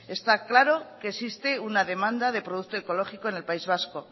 está claro que existe una demanda de producto ecológico en el país vasco